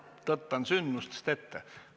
Jumal, tõttan sündmustest ette.